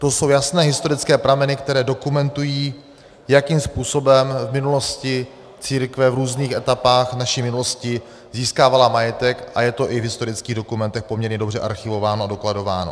To jsou jasné historické prameny, které dokumentují, jakým způsobem v minulosti církve v různých etapách naší minulosti získávala majetek, a je to i v historických dokumentech poměrně dobře archivováno a dokladováno.